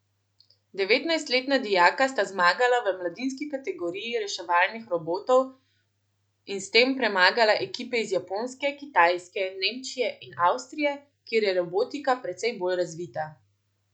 Devetnajstletna dijaka sta zmagala v mladinski kategoriji reševalnih robotov in s tem premagala ekipe iz Japonske, Kitajske, Nemčije in Avstrije, kjer je robotika precej bolj razvita.